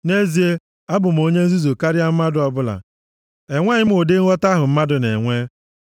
Nʼezie, abụ m onye nzuzu karịa mmadụ ọbụla; + 30:2 Abụ m anụ ọhịa, a bụghị mmadụ. Enweghị m ụdị nghọta ahụ mmadụ na-enwe.